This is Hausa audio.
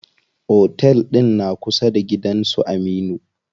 Otel ɗin na kusa da gidan su Aminu.